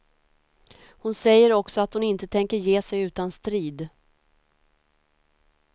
Hon säger också att hon inte tänker ge sig utan strid.